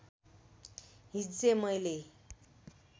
हिज्जे मैले